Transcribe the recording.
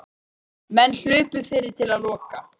Menn hlupu fyrir til að loka.